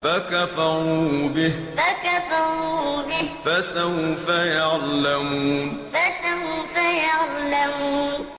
فَكَفَرُوا بِهِ ۖ فَسَوْفَ يَعْلَمُونَ فَكَفَرُوا بِهِ ۖ فَسَوْفَ يَعْلَمُونَ